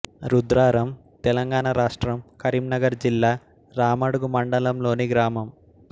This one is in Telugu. రుద్రారం తెలంగాణ రాష్ట్రం కరీంనగర్ జిల్లా రామడుగు మండలంలోని గ్రామం